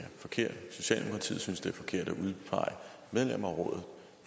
forkert socialdemokratiet synes det er forkert at udpege medlemmer af rådet